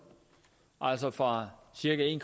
altså fra cirka en